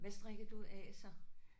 Hvad strikker du af så?